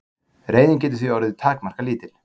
reiðin getur því orðið takmarkalítil